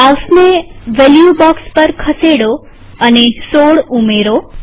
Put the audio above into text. માઉસને value box પર ખસેડો અને ૧૬ ઉમેરો